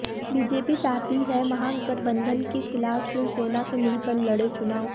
BJP चाहती है महागठबंधन के खिलाफ शिवसेना से मिलकर लड़े चुनाव